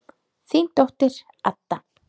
Þín dóttir, Adda.